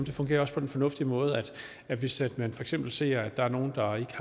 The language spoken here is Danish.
fungerer på den fornuftig måde at hvis man for eksempel ser at der er nogen der ikke